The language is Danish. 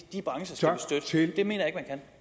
de brancher